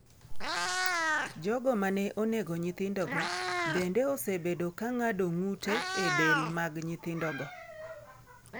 Jogo ma ne onego nyithindogo bende osebedo ka ng’ado ng’ute e del mag nyithindogo.